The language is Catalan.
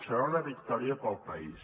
serà una victòria per al país